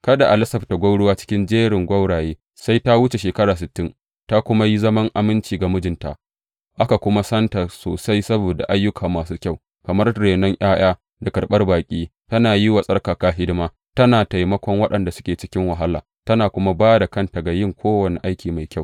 Kada a lasafta gwauruwa cikin jerin gwauraye sai ta wuce shekara sittin, ta kuma yi zaman aminci ga mijinta, aka kuma santa sosai saboda ayyuka masu kyau, kamar renon ’ya’ya, da karɓan baƙi, tana yi wa tsarkaka hidima, tana taimakon waɗanda suke cikin wahala tana kuma ba da kanta ga yin kowane aikin mai kyau.